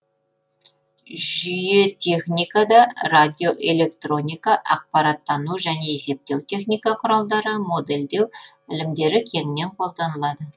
жүйетехникада радиоэлектроника ақпараттану және есептеу техника құралдары модельдеу ілімдері кеңінен қолданылады